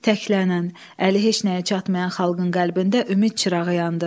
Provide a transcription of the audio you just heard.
Təklənən, əli heç nəyə çatmayan xalqın qəlbində ümid çırağı yandı.